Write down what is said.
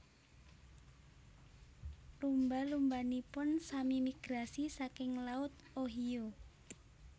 Lumba lumbanipun sami migrasi saking laut Ohio